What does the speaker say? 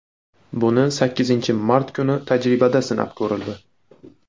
Buni sakkizinchi mart kuni tajribada sinab ko‘rildi.